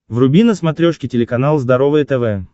вруби на смотрешке телеканал здоровое тв